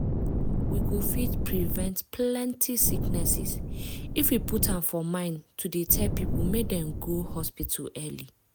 we go fit prevent plenty sicknesses if we put am for mind to dey tell people make dem go hospital early.